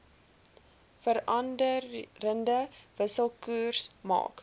veranderende wisselkoers maak